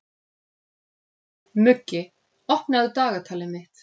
Muggi, opnaðu dagatalið mitt.